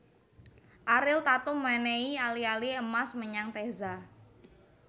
Ariel Tatum menehi ali ali emas menyang Teza